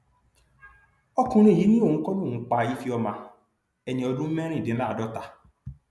ọkùnrin yìí ni òun kọ lòun pa ifeoma ẹni ọdún mẹrìndínláàádọta